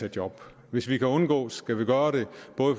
et job hvis vi kan undgå det skal vi gøre det